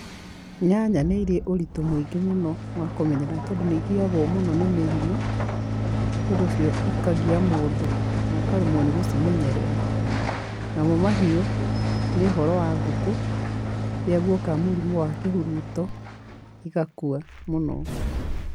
Nyanya nĩ irĩ ũritũ mũingĩ mũno wa kũmenyerera nĩ tondũ nĩ igiagwo mũno nĩ mĩrimũ, nĩ ũndũ ũcio ikagia mũndũ no karemwo nĩ gũcimenyerera. Namo mahiũ nĩ ũhoro wa ngũkũ, rĩrĩa guoka mũrimũ wa kĩhuruto, igakua mũno.